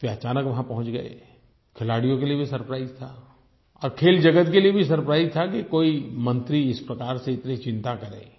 वे अचानक वहां पहुँच गए खिलाड़ियों के लिए भी सरप्राइज था और खेल जगत के लिए भी सरप्राइज था कि कोई मंत्री इस प्रकार से इतनी चिंता करे